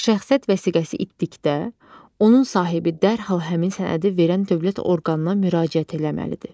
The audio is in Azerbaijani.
Şəxsiyyət vəsiqəsi itdikdə, onun sahibi dərhal həmin sənədi verən dövlət orqanına müraciət eləməlidir.